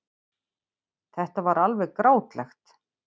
Þetta var alveg grátlegt.